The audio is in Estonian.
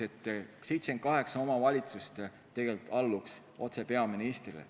78 omavalitsust tegelikult alluks otse peaministrile.